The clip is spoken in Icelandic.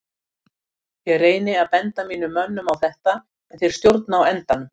Ég reyni að benda mínum mönnum á þetta en þeir stjórna á endanum.